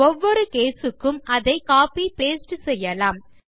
ஒவ்வொரு கேஸ் க்கு அதை கோப்பி பாஸ்டே செய்யலாம்